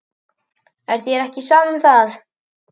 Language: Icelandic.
Er þér ekki sama um það?